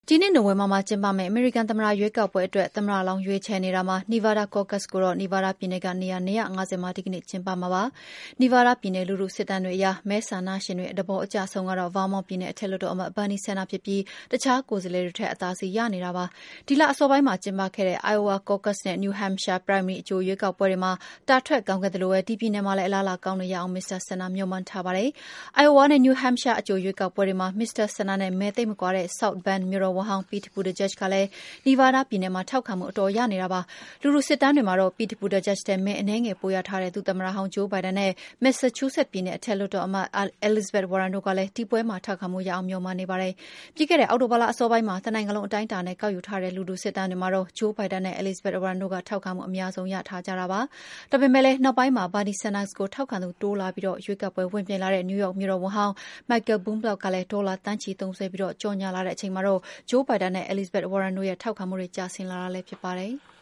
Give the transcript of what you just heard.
ဒီနှစ် နိုဝင်ဘာမှာကျင်းပမယ့် အမေရိကန် သမ္မတရွေးကောက်ပွဲအတွက် သမ္မတလောင်း ရွေးချယ်နေတာမှာ Nevada Caucus ကိုတော့ နီဗားဒါးပြည်နယ်က နေရာ ၂၅၀ မှာ ဒီကနေ့ ကျင်းပမှာပါ။ နီဗားဒါးပြည်နယ် လူထုစစ်တမ်းတွေအရ မဲဆန္ဒရှင်တွေ သဘောအကျဆုံးကတော့ ဗားမောင့်ပြည်နယ် အထက်လွှတ်တော်အမတ် Bernie Sanders ဖြစ်ပြီး အခြားကိုယ်စားလှယ်တွေထက် အသာစီးရနေတာကို တွေ့ရပါတယ်။ ဒီလအစောပိုင်းမှာ ကျင်းပခဲ့တဲ့ Iowa caucuses နဲ့ New Hampshire primary အကြိုရွေးကောက်ပွဲတွေမှာ တာထွက်ကောင်းခဲ့သလိုပဲ ဒီပြည်နယ်မှာလည်း အလားအလာကောင်းအောင် မစ္စတာ Sanders မျှော်မှန်းထားတာပါ။ အိုင်အိုဝါနဲ့ New Hampshire အကြိုရွေးကောက်ပွဲတွေမှာ မစ္စတာ Sanders နဲ့ မဲသိပ်မကွာတဲ့ South Bend မြို့တော်ဝန်ဟောင်း Pete Buttigieg ကလည်း နီဗားဒါးပြည်နယ်မှာ ထောက်ခံမှု အတော်ရနေတာပါ။ လူထုစစ်တမ်းတွေမှာ Pete Buttigieg ထက် မဲအနည်းငယ် ပိုရထားခဲ့တဲ့ ဒုသမ္မတဟောင်း Joe Biden နဲ့ မက်ဆာချူးဆက်ပြည်နယ် အထက်လွှတ်တော်အမတ် Elizabeth Warren တို့ကလည်း ဒီပွဲမှာ ထောက်ခံမှုရအောင် မျှော်မှန်းနေပါတယ်။ ပြီးခဲ့တဲ့ အောက်တိုဘာလ အစောပိုင်းမှာ တနိုင်ငံလုံး အတိုင်းအတာနဲ့ ကောက်ယူထားတဲ့ လူထုစစ်တမ်းတွေမှာတော့ Joe Biden နဲ့ Elizabeth Warren တို့က ထောက်ခံမှုအများဆုံး ရထားကြတာပါ။ ဒါပေမယ့်လည်း နောက်ပိုင်းမှာ Bernie Sanders ကို ထောက်ခံသူ တိုးလာပြီး ရွေးကောက်ပွဲ ဝင်ပြိုင်လာတဲ့ နယူးယောက်မြို့တော်ဝန်ဟောင်း Michael Bloomberg ကလည်း ဒေါ်လာသန်းချီသုံစွဲပြီး ကြော်ငြာလာတဲ့ အချိန်မှာတော့ Joe Biden နဲ့ Elizabeth Warren တို့ရဲ့ ထောက်ခံမှုတွေ ကျဆင်းလာတာလည်း ဖြစ်ပါတယ်။